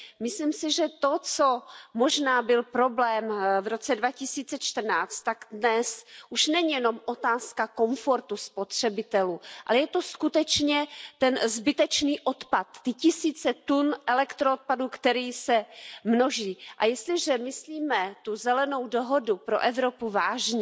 Myslím si, že to, co možná byl problém v roce 2014, tak dnes už není jenom otázka komfortu spotřebitelů, ale je to skutečně ten zbytečný odpad, ty tisíce tun elektroodpadu, který se množí. A jestliže myslíme Zelenou dohodu pro Evropu vážně,